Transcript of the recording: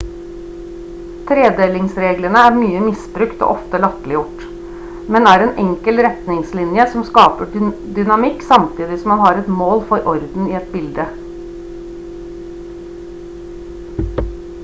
tredelingsreglene er mye misbrukt og ofte latterliggjort men er en enkel retningslinje som skaper dynamikk samtidig som man har et mål for orden i et bilde